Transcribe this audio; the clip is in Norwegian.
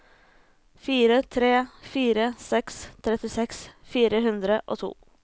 fire tre fire seks trettiseks fire hundre og to